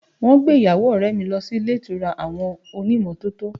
Wọn gbé ìyàwó ọrẹ mi lọ sí ilé ìtura àwọn onímọ́tò